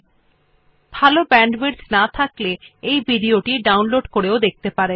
যদি ভাল ব্যান্ডউইডথ না থাকে তাহলে আপনি ভিডিও টি ডাউনলোড করে দেখতে পারেন